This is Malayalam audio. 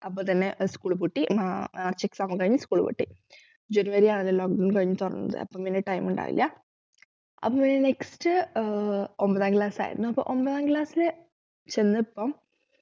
അപ്പൊ തന്നെ school പൂട്ടി മാ മാർച്ച് exam ഒക്കെക്കഴിഞ്ഞു school പൂട്ടി ജനുവരിയാണ് lockdown കഴിഞ്ഞു തൊറന്നത് അപ്പൊ അങ്ങനെ time ഇണ്ടായില്ല അപ്പൊ next ആഹ് ഒൻപതാം class ആയിരുന്നു അപ്പോ ഒൻപതാം class ൽ ചെന്നപ്പോ